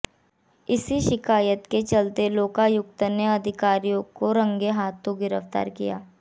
इसी शिकायत के चलते लोकायुक्त ने अधिकारी को रंगे हाथों गिरफ्तार किया